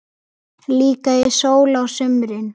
Líka í sól á sumrin.